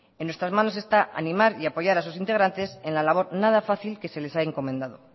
en nuestras manos está animar y apoyar a sus integrantes en la labor nada fácil que se les ha encomendando